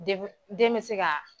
De wil den me se kaa